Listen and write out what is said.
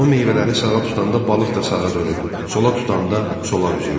O meyvələri sağa tutanda balıq da sağa dönür, sola tutanda sola üzürdü.